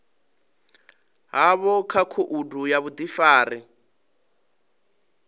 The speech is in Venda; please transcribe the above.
havho kha khoudu ya vhudifari